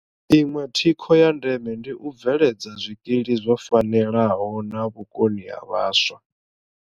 Iṅwe thikho ya ndeme ndi u bveledza zwikili zwo fanelaho na vhukoni ha vhaswa.